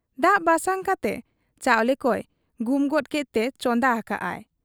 ᱫᱟᱜ ᱵᱟᱥᱟᱝ ᱠᱟᱛᱮ ᱪᱟᱣᱞᱮ ᱠᱚᱭ ᱜᱩᱢ ᱜᱚᱫ ᱠᱮᱫᱛᱮ ᱪᱚᱸᱫᱟ ᱟᱠᱟᱜ ᱟᱭ ᱾